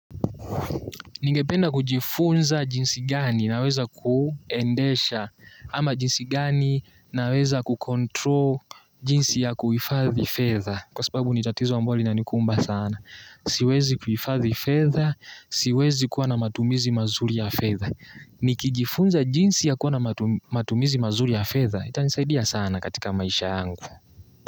Ningependa kujifunza jinsi gani naweza kuendesha ama jinsi gani naweza kucontrol jinsi ya kuhifadhi fedha kwa sababu ni tatizo ambalo linanikumba sana. Siwezi kuhifadhi fedha, siwezi kuwa na matumizi mazuri ya fedha. Nikijifunza jinsi ya kuwa na matumizi mazuri ya fedha, itanisaidia sana katika maisha angu.